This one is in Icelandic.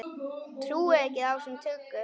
Trúi ekki á þessa tuggu.